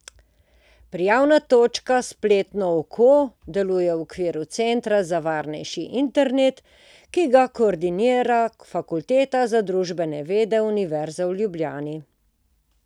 Prijavna točka Spletno oko deluje v okviru Centra za varnejši internet, ki ga koordinira Fakulteta za družbene vede Univerze v Ljubljani.